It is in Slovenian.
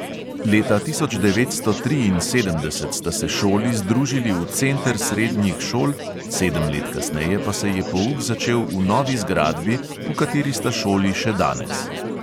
Leta tisoč devetsto triinsedemdeset sta se šoli združili v center srednjih šol, sedem let kasneje pa se je pouk začel v novi zgradbi, v kateri sta šoli še danes.